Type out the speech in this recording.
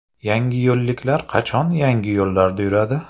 Yangiyo‘lliklar qachon yangi yo‘llarda yuradi?.